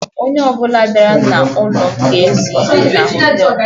Onye ọbụla bịara n'ụlọ m ga-ezu ike na họtelụ.